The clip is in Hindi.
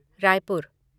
रायपुर